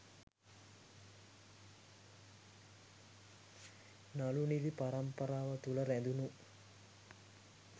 නළු නිළි පරම්පරාව තුළ රැඳුණු